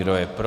Kdo je pro.